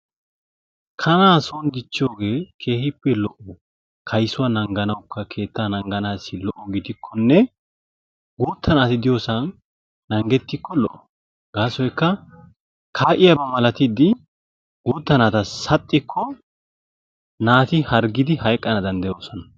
Kaana soon dichchiyooge keehippe lo''o kayssuwaa nangganawukka keettaa naaganassi lo''o gidikkonne guutta naati diyoosan naangettiko lo''o gaasoykka kaa'iyaaba malatidi guutta naata saxxikko naati harggidi hayqqana danddayoosona.